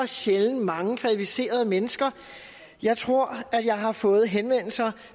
sjældent mange kvalificerede mennesker jeg tror at jeg har fået henvendelser